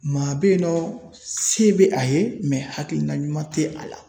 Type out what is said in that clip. Maa bɛ yen nɔ se bɛ a ye mɛ hakilina ɲuman tɛ a la